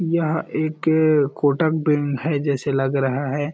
यह एक के कोटक बैंक है जैसे लग रहा है।